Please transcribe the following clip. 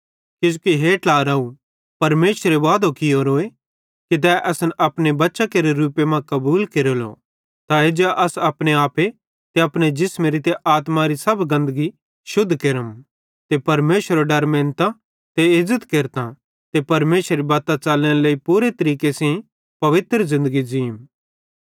किजोकि हे ट्लाराव परमेशरे वादो कियोरो कि तै असन अपने बच्चां केरे रूपे मां कबूल केरेलो त एज्जा अस अपने आपे ते जिसमेरी ते आत्मारी सब गंदगी शुद्ध केरम ते परमेशरेरो डर मेनतां ते इज़्ज़त केरतां ते परमेशरेरी बत्तां च़लनेरे लेइ पूरे तरीके सेइं पवित्र ज़िन्दगी ज़ींम